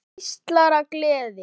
Páll geislar af gleði.